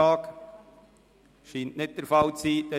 – Das scheint nicht der Fall zu sein.